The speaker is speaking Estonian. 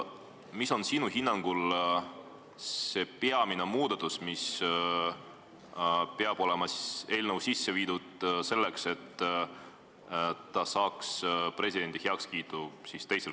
Mis on sinu hinnangul see peamine muudatus, mis peab olema sisse viidud, selleks et seadus saaks teisel katsel presidendi heakskiidu?